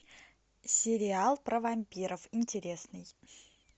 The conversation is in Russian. сериал про вампиров интересный